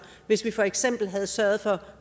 hvis vi for eksempel havde sørget for